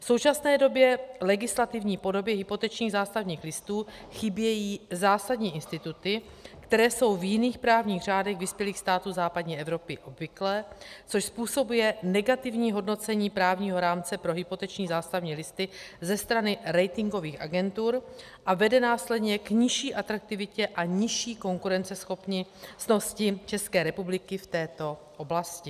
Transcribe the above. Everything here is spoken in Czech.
V současné době legislativní podobě hypotečních zástavních listů chybí zásadní instituty, které jsou v jiných právních řádech vyspělých států západní Evropy obvyklé, což způsobuje negativní hodnocení právního rámce pro hypoteční zástavní listy ze strany ratingových agentur a vede následně k nižší atraktivitě a nižší konkurenceschopnosti České republiky v této oblasti.